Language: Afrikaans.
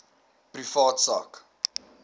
privaat sak